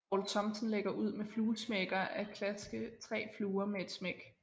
Poul Thomsen lægger ud med fluesmækker at klaske 3 fluer med et smæk